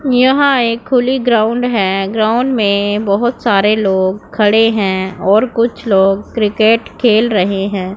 यहां एक खुली ग्राउंड है ग्राउंड में बहुत सारे लोग खड़े हैं और कुछ लोग क्रिकेट खेल रहे हैं।